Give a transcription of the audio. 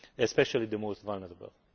especially the most vulnerable.